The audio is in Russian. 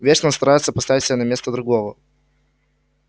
вечно-то старается поставить себя на место другого